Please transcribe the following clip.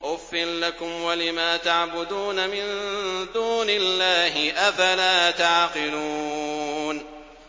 أُفٍّ لَّكُمْ وَلِمَا تَعْبُدُونَ مِن دُونِ اللَّهِ ۖ أَفَلَا تَعْقِلُونَ